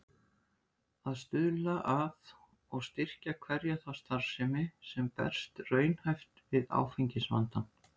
Að stuðla að og styrkja hverja þá starfsemi, sem berst raunhæft við áfengisvandann.